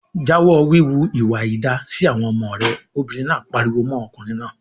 "Jáwọ́ wíwu ìwà àìda sí àwọn ọmọ rẹ!" Obìnrin náà pariwo mọ́ ọkùnrin náà.